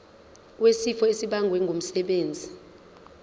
wesifo esibagwe ngumsebenzi